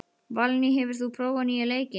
Valný, hefur þú prófað nýja leikinn?